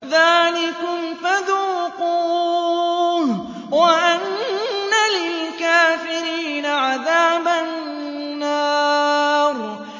ذَٰلِكُمْ فَذُوقُوهُ وَأَنَّ لِلْكَافِرِينَ عَذَابَ النَّارِ